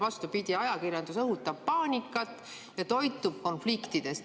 Vastupidi, ajakirjandus õhutab paanikat ja toitub konfliktidest.